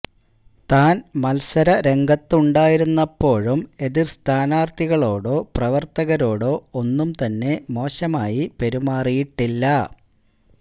താൻ മത്സരരംഗത്തുണ്ടായിരുന്നപ്പോഴും എതിർ സ്ഥാനാർത്ഥികളോടോ പ്രവർത്തകരോടൊ ഒന്നും തന്നെ മോശമായി പെരുമാറിയിട്ടില്ല